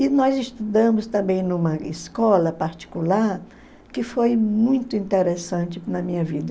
E nós estudamos também numa escola particular que foi muito interessante na minha vida.